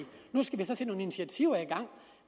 at initiativer i gang